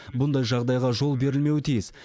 бұндай жағдайға жол берілмеуі тиіс